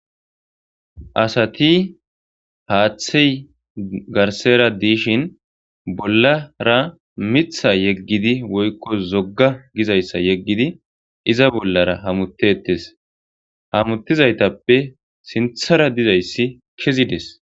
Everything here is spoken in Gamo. asati haaththey garsera diishin bollara mitha yeggidi woykko zogga gizayssa yeggidi iza bollara hamutetes hamuttizaytappe sinthara dizayssi kezides